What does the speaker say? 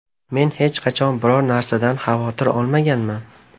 Men hech qachon biror narsadan xavotir olmaganman.